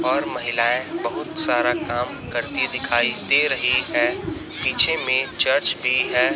और महिलाएं बहुत सारा काम करती दिखाई दे रही है पीछे मे चर्च भी है।